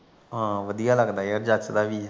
ਹਾਂ ਵਧੀਆ ਲੱਗਦਾ ਯਾਰ ਜਚਦਾ ਵੀ